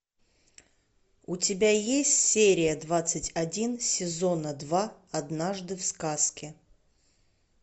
у тебя есть серия двадцать один сезона два однажды в сказке